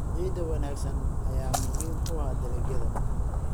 Ciid wanaagsan ayaa muhiim u ah dalagyada.